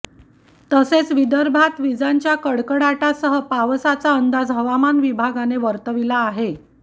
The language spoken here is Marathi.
तसेच विदर्भात विजांच्या कडकडाटासह पावसाचा अंदाज हवामान विभागाने वर्तविला आहे